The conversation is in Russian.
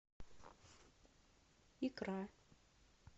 икра